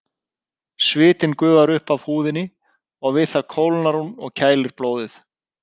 Svitinn gufar upp af húðinni og við það kólnar hún og kælir blóðið.